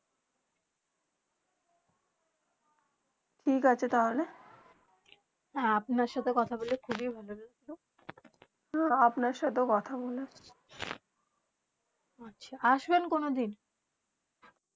ঠিক আছে তালে আপনার সাথে কথা বলে খুবই ভালো লাগলো আপনার সাথে কথা বলে আসবেন কোনো দিন